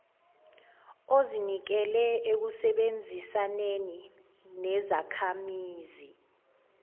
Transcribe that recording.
ozinikele ekusebenzisaneni nezakhamizi